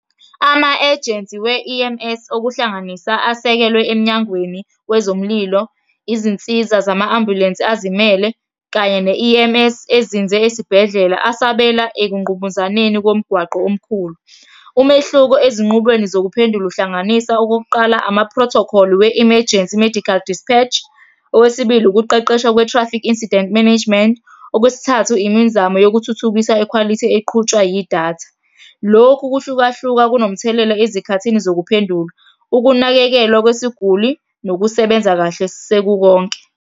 Ama-agency we-E_M_S, okuhlanganisa asekelwe emnyangweni wezomlilo, izinsiza zama-ambulensi azimele, kanye ne-E_M_S ezinze esibhedlela, asabela ekungqubuzaneni komgwaqo omkhulu. Umehluko ezinqubweni zokuphendula uhlanganisa okokuqala ama-protocol we-emergency, i-medical dispatch. Owesibili, ukuqeqeshwa kwe-traffic incident management. Okwesithathu, imizamo yokuthuthukisa ikhwalithi eqhutshwa yidatha. Lokhu ukuhlukahluka kunomthelela ezikhathini zokuphendula, ukunakekelwa kwesiguli, nokusebenza kahle sekukonke.